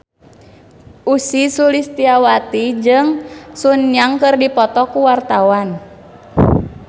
Ussy Sulistyawati jeung Sun Yang keur dipoto ku wartawan